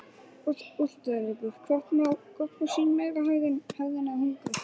Úrslitaleikur: Hvort má sín meira hefðin eða hungrið?